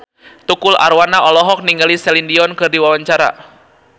Tukul Arwana olohok ningali Celine Dion keur diwawancara